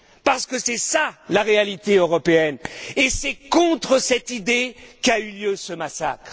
Car c'est cela la réalité européenne, et c'est contre cette idée qu'a eu lieu ce massacre.